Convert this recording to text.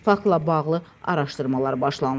Faktla bağlı araşdırmalar başlanılıb.